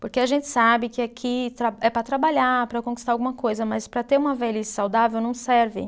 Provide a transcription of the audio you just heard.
Porque a gente sabe que aqui tra, é para trabalhar, para conquistar alguma coisa, mas para ter uma velhice saudável não serve.